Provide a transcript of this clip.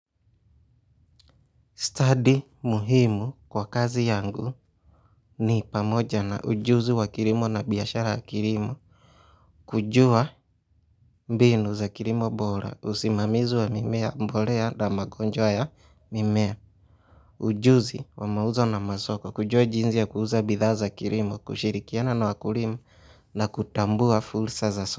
Study muhimu kwa kazi yangu ni pamoja na ujuzi wa kirimo na biyashara wa kirimo, kujua mbinu za kirimo bora, usimamizi wa mimea mbolea na magonjwa ya mimea, ujuzi wa mauzo na masoko, kujua jinzi ya kuuza bidha za kirimo, kushirikiana na wakulima na kutambua fulsa za so.